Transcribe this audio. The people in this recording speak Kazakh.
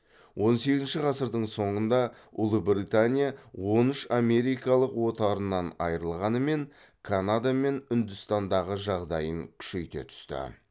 он сегізінші ғасырдың соңында ұлыбритания он үш америкалық отарынан айрылғанымен канада мен үндістандағы жағдайын күшейте түсті